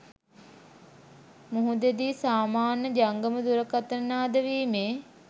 මුහුදේදි සාමාන්‍ය ජංගම දුරකථන නාද වීමේ